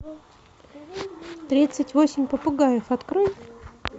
тридцать восемь попугаев открой